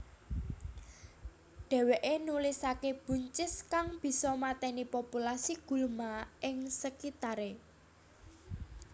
Dheweke nulisake buncis kang bisa mateni populasi gulma ing sekitare